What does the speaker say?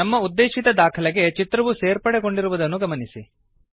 ನಮ್ಮ ಉದ್ದೆಶಿತ ದಾಖಲೆಗೆ ಚಿತ್ರವು ಸೇರ್ಪಡೆಗೊಂಡಿರುವುದನ್ನು ಗಮನಿಸಿ